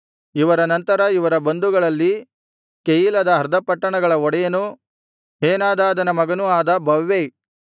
ಇವರ ನಂತರ ಇವರ ಬಂಧುಗಳಲ್ಲಿ ಕೆಯೀಲದ ಅರ್ಧ ಪಟ್ಟಣಗಳ ಒಡೆಯನೂ ಹೇನಾದಾದನ ಮಗನೂ ಆದ ಬವ್ವೈ